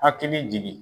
Hakili jigi